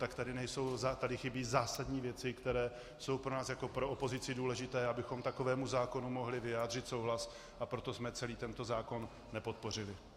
Tak tady chybí zásadní věci, které jsou pro nás jako pro opozici důležité, abychom takovému zákonu mohli vyjádřit souhlas, a proto jsme celý tento zákon nepodpořili.